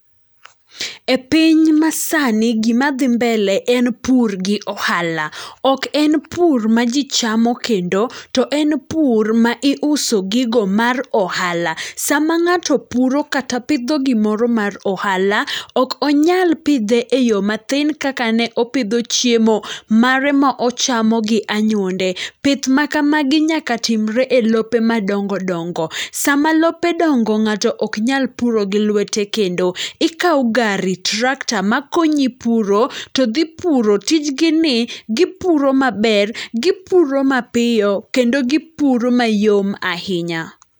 E piny masani, gima dhi mbele en pur gi ohala. Ok en pur ma ji chamo kendo ,to en pur ma iuso gigo mar ohala. Sama ng'ato puro kata pidho gimoro mar ohala, ok onyal pidhe e yo mathin kaka ne opidho chiemo mare ma ochamo gi anyuonde. Pith makamagi nyaka timore e lope madongo dongo. Sama lope dongo ng'ato ok nyal puro gi lwete kendo. Ikawo gari, tractor makonyi puro to dhi puro. Tijgi gi ni gipuro maber, gipuro mapiyo, kendo gipuro mayom ahinya.